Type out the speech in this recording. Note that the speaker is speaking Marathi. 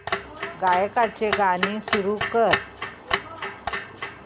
गायकाचे गाणे सुरू कर